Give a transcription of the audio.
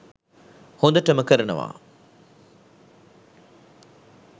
හොදටම කරනවා.